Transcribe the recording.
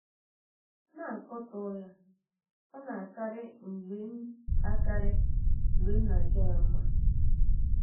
na - akatọ ya ọ̀ na - akarị mgbe m akarị mgbe m na - aja ya mma?